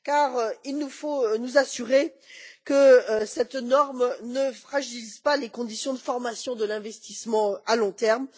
En effet, il nous faut nous assurer que cette norme ne fragilise pas les conditions de formation de l'investissement à long terme.